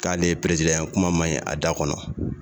K'ale ye ye kuma man ɲi a da kɔnɔ